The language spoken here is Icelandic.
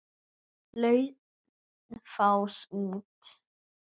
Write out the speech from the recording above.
Laufás út.